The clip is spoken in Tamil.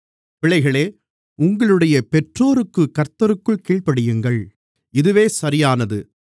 பிள்ளைகளே உங்களுடைய பெற்றோருக்குக் கர்த்தருக்குள் கீழ்ப்படியுங்கள் இதுவே சரியானது